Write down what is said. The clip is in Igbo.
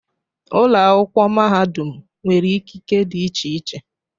Ụlọ akwụkwọ mahadum nwere ikike dị iche iche